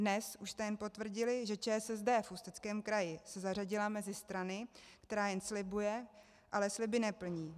Dnes už jste jen potvrdili, že ČSSD v Ústeckém kraji se zařadila mezi strany, které jen slibují, ale sliby neplní.